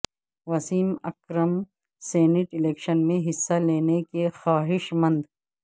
Wasim Akram senate election میں حصہ لینے کےخواہش مند